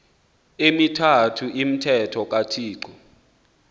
emithathu umthetho kathixo